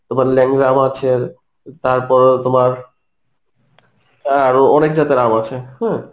তোমার ল্যাংড়া আম আছে তারপর, তোমার আরো অনেক জাতের আম আছে, হম